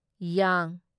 ꯌ